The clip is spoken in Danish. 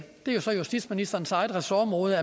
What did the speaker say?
det er så justitsministerens eget ressortområde